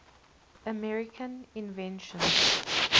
american inventions